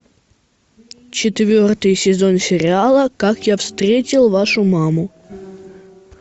четвертый сезон сериала как я встретил вашу маму